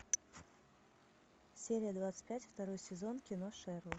серия двадцать пять второй сезон кино шерлок